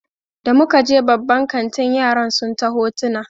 Da muka je babban kantin yaran sun ta hotona